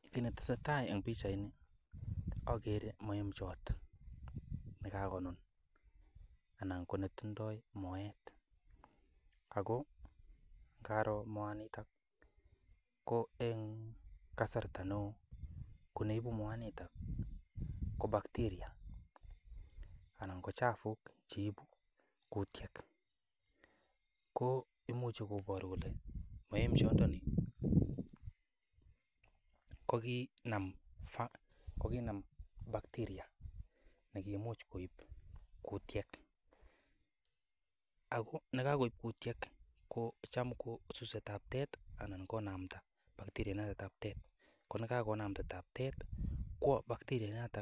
Kit netesetai en pichaini ogere moembjot ne kagonun anan ko netindo moet ago karoo moaito ko en kasarta neo ko neibu moanito ko bacteria anan ko chafuk cheibu kutyet. Ko imuche koboru kole moemjondoni koginam bacteria nekimuch koib kutiet. Ago ye kogoib kutiet kocham ko suse taptet anan konamda bacteria inoto taptet ko ye kagonamda inendet taptet kwo bacteria inoto